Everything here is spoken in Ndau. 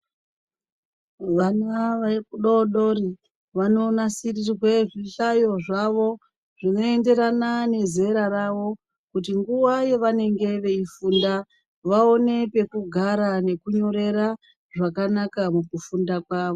Vana vadoodori vanonasirirwe zvihlayo zvavo zvinoenderana nezera ravo kuti nguva yanenge veifunda vaone pekugara nekunyorera zvakanaka mukufunda kwavo.